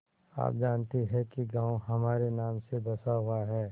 आप जानती हैं कि गॉँव हमारे नाम से बसा हुआ है